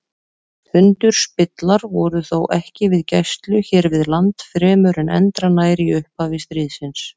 Tundurspillar voru þó ekki við gæslu hér við land fremur en endranær í upphafi stríðsins.